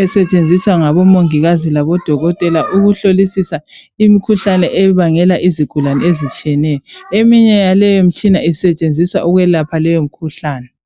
esetshenziswa ngabomongikazi labodokotela ukuhlolisisa imikhuhlane ebangela izigulane ezitshiyeneyo eminye yaleyo mitshina isetshenziswa ukwelapha leyo mkhuhlane.